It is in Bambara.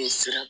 Ne sera